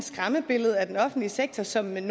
skræmmebillede af den offentlige sektor som en